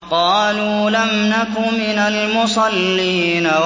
قَالُوا لَمْ نَكُ مِنَ الْمُصَلِّينَ